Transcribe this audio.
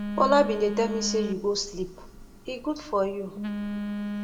bola bin dey tell me say you go sleep e good for you